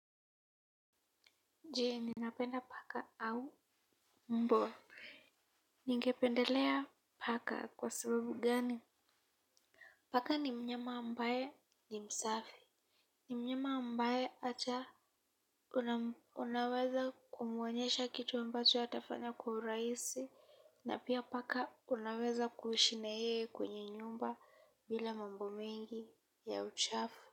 Jee, ninapenda paka au mbwa. Ningependelea paka kwa sababu gani? Paka ni mnyama ambaye ni msafi. Ni mnyama ambaye hata unaweza kumuonyesha kitu ambacho atafanya kwa urahisi na pia paka unaweza kuishi na yeye kwenye nyumba bila mambo mengi ya uchafu.